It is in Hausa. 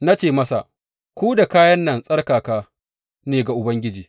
Na ce masa, Ku da kayan nan tsarkaka ne ga Ubangiji.